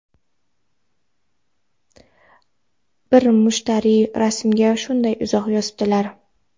Bir mushtariy rasmga shunday izoh yozibdilar:.